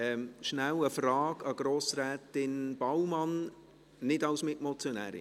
Kurz eine Frage an Grossrätin Baumann: Werden Sie als Mitmotionärin sprechen?